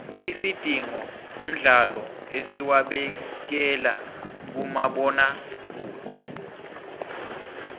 isidingo mdlalo esiwabekela kumabona kude